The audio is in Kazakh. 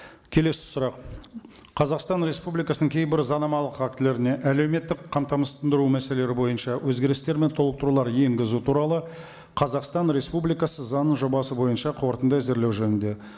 келесі сұрақ қазақстан республикасының кейбір заңнамалық актілеріне әлеуметтік қамтамасыздандыру мәселелері бойынша өзгерістер мен толықтырулар енгізу туралы қазақстан республикасы заңының жобасы бойынша қорытынды әзірлеу жөнінде